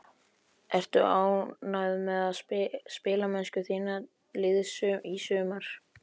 Ertu ánægð með spilamennsku þíns liðs í sumar?